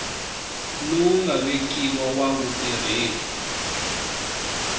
lowu nga vekiwa wa vutirheli